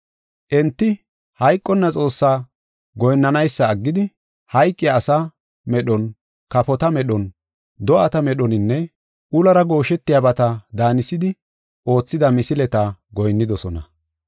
Enti hayqonna Xoossaa goyinnanaysa aggidi, hayqiya asa medhon, kafota medhon, do7ata medhoninne ulora gooshetiyabata daanisidi oothida misileta goyinnidosona.